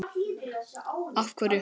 Karen: Af hverju?